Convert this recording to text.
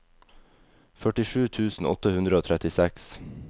førtisju tusen åtte hundre og trettiseks